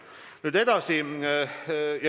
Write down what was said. Nüüd edasi.